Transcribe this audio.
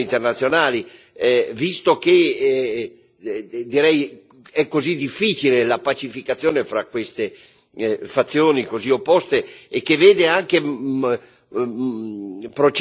è così difficile la pacificazione fra queste fazioni così opposte e che procede in maniera molto lenta e sospetta la liberazione dei prigionieri politici.